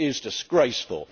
It is disgraceful.